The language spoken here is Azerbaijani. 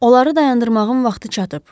Onları dayandırmağın vaxtı çatıb.